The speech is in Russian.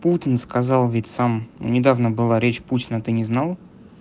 путин сказал ведь сам недавно была речь путина ты не знал